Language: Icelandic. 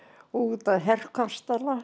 út að